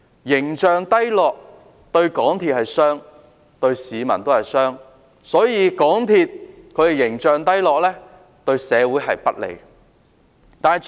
形象低落對港鐵公司是傷害，對市民也是傷害，故此港鐵公司形象低落，是對社會不利的。